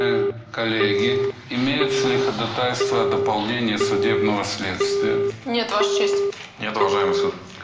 коллеги имеются ли ходатайства о дополнении судебного следствия нет ваша честь нет уважаемый суд